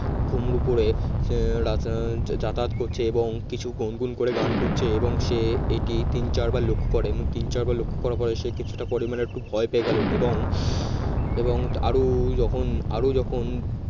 ঘুঙরু পড়ে যাতায়াত করছে এবং কিছু গুনগুন করে গান করছে এবং সে এটি তিন চার বার লক্ষ্য করে এবং তিন চার বার লক্ষ করার পর সে কিছুটা পরিমাণে একটু ভয় পেয়ে গেল এবং এবং আরো যখন আরো যখন